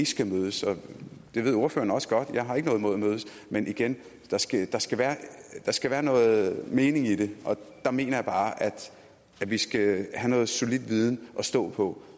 skal mødes og det ved ordføreren også godt jeg har ikke noget imod at mødes men igen der skal der skal være noget mening i det og der mener jeg bare at vi skal have en solid viden at stå på